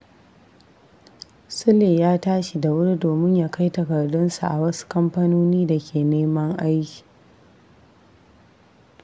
Sule ya tashi da wuri domin ya kai takardunsa a wasu kamfanoni da ke neman aiki.